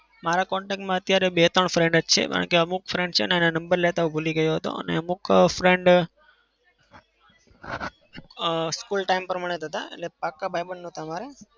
મારા contact માં અત્યારે બે-ત્રણ friend જ છે કારણ કે અમુક friend છે ને એના number લેતા હું ભૂલી ગયો હતો અને અમુક friend અમ school time પ્રમાણે જ હતા. એટલે પાક્કા ભાઈબંધ નતા અમારે.